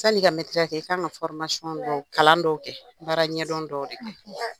Sani i ka mɛtiriya kɛ i kan ka dɔw kalan dɔw kɛ baara ɲɛdɔn dɔw de kɛ.